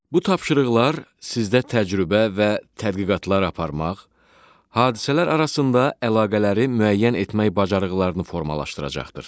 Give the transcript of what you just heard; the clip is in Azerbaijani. Bu tapşırıqlar sizdə təcrübə və tədqiqatlar aparmaq, hadisələr arasında əlaqələri müəyyən etmək bacarıqlarını formalaşdıracaqdır.